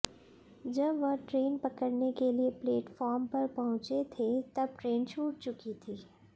जब वह ट्रेन पकड़ने के लिए प्लेटफॉर्म पर पहुंचे थे तब ट्रेन छूट चुकी थी